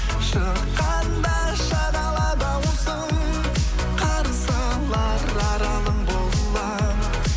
шыққанда шағала даусың қарсы алар аралың боламын